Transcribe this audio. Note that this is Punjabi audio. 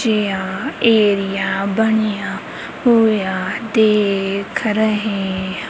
ਜੇਹਾ ਏਰੀਆ ਬਣੀਆ ਹੋਇਆ ਦੇਖ ਰਹੇ--